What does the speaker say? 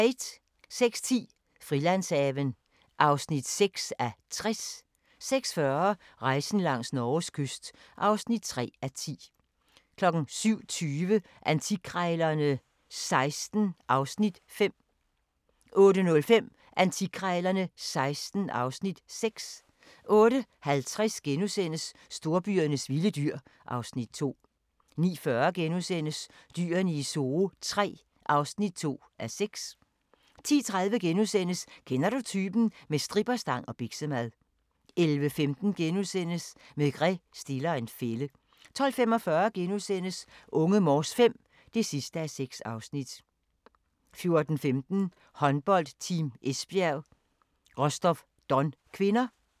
06:10: Frilandshaven (6:60) 06:40: Rejsen langs Norges kyst (3:10) 07:20: Antikkrejlerne XVI (Afs. 5) 08:05: Antikkrejlerne XVI (Afs. 6) 08:50: Storbyernes vilde dyr (Afs. 2)* 09:40: Dyrene i Zoo III (2:6)* 10:30: Kender du typen? – med stripperstang og biksemad * 11:15: Maigret stiller en fælde * 12:45: Unge Morse V (6:6)* 14:15: Håndbold: Team Esbjerg - Rostov-Don (k)